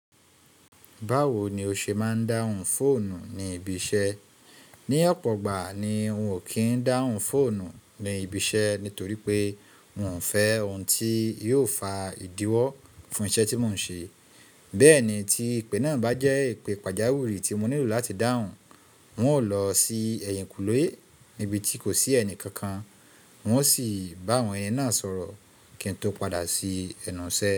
Báwo ni o ṣe máa ń dáhùn fóònù ní ibi iṣẹ́? Ní ọ̀pọ̀ ìgbà ni n ò kí ń dáhùn fóònù ní ibi iṣẹ́ nítorí pé n ò fẹ́ ohun tí yóò fa ìdíwọ́ fún iṣẹ́ tí mò ń ṣe. Bẹ́ẹ̀ ni tí ìpè náà bá jẹ́ ìpè pàjáwìrì tí mo nílò láti dáhùn, hùn ó lọ sí ẹ̀yìnkùlé níbi tí kò sí ẹnì kankan, hùn ó sì bá àwọn yẹn náà sọ̀rọ̀ kí n tó padà sí ẹnu ṣẹ.